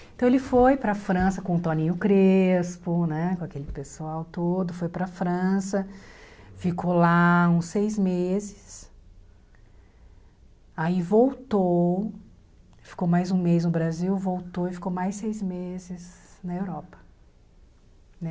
Então ele foi para França com o Toninho Crespo, né, com aquele pessoal todo, foi pra França, ficou lá uns seis meses, aí voltou, ficou mais um mês no Brasil, voltou e ficou mais seis meses na Europa, né.